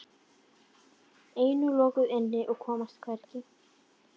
Ein og lokuð inni og komast hvergi.